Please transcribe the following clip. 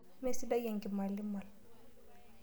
Mee sidai ekimalimal.